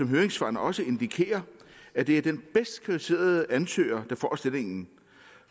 høringssvarene også indikerer at det er den bedst kvalificerede ansøger der får stillingen